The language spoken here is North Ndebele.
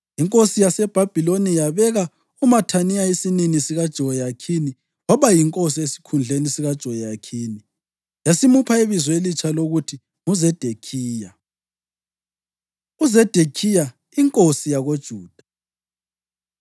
Inkosi yaseBhabhiloni yabeka uMathaniya isinini sikaJehoyakhini waba yinkosi esikhundleni sikaJehoyakhini, yasimupha ibizo elitsha lokuthi nguZedekhiya. UZedekhiya Inkosi YakoJuda